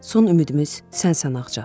Son ümidimiz sənsən ağca.